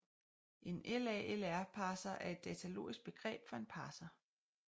En LALR parser er et datalogisk begreb for en parser